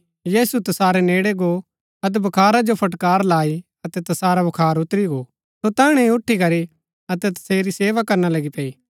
यीशु तसारै नेड़ै गो अतै बुखारा जो फटकार लाई अतै तसारा बुखार उतरी गो सो तैहणै ही उठी अतै तसेरी सेवा करना लगी पैई